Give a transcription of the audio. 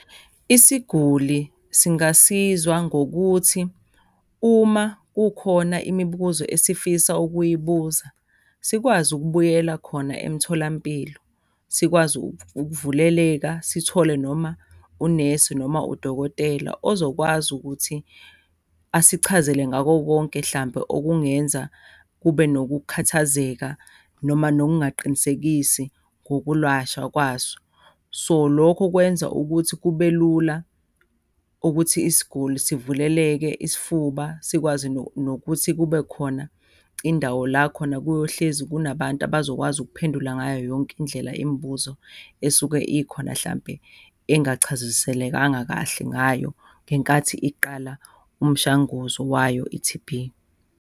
Isiguli singasizwa ngokuthi uma kukhona imibuzo esifisa ukuyibuza sikwazi ukubuyela khona emtholampilo. Sikwazi ukuvuleleka sithole noma unesi noma udokotela ozokwazi ukuthi asichazele ngako konke hlampe okungenza kube nokukhathazeka noma nokungaqinisekisi ngokulwashwa kwaso. So, lokho kwenza ukuthi kube lula ukuthi isiguli sivuleleke isifuba sikwazi nokuthi kube khona indawo la khona kuyohlezi kunabantu abazokwazi ukuphendula ngayo yonke indlela imibuzo esuke ikhona, hlampe engachaziselekanga kahle ngayo ngenkathi iqala umshanguzo wayo i-T_B.